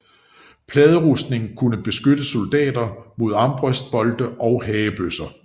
Pladerustning kunne beskytte soldater mod armbrøstbolte og hagebøsser